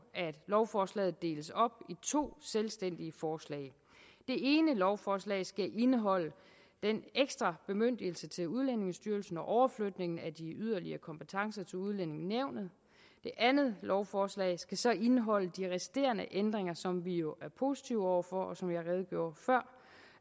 at lovforslaget deles op i to selvstændige forslag det ene lovforslag skal indeholde den ekstra bemyndigelse til udlændingestyrelsen og overflytningen af de yderligere kompetencer til udlændingenævnet det andet lovforslag skal så indeholde de resterende ændringer som vi jo er positive over for som